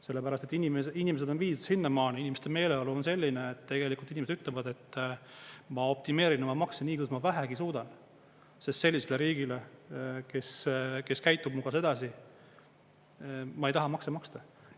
Sellepärast et inimesed on viidud sinnamaani, inimeste meeleolu on selline, et tegelikult inimesed ütlevad, et ma optimeerin oma makse nii, kuidas vähegi suudan, sest sellisele riigile, kes käitub minuga sedasi, ma ei taha makse maksta.